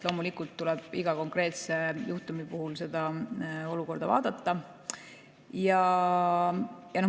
Loomulikult tuleb iga konkreetse juhtumi puhul olukorda vaadata.